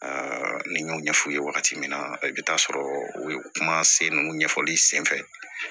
ne y'o ɲɛf'u ye wagati min na i bɛ taa sɔrɔ o ye kuma sen ɲɛfɔli sen fɛ